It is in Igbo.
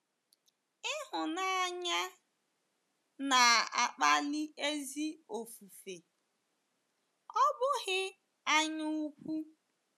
Ịhụnanya, na-akpali ezi ofufe, ọ bụghị anyaukwu.